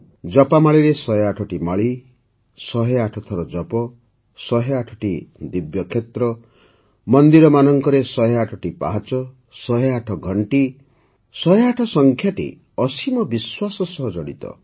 ଜପାମାଳିରେ ୧୦୮ଟି ମାଳି ୧୦୮ ଥର ଜପ ୧୦୮ଟି ଦିବ୍ୟ କ୍ଷେତ୍ର ମନ୍ଦିରମାନଙ୍କରେ ୧୦୮ଟି ପାହାଚ ୧୦୮ ଘଣ୍ଟି ୧୦୮ ସଂଖ୍ୟାଟି ଅସୀମ ବିଶ୍ୱାସ ସହ ଜଡ଼ିତ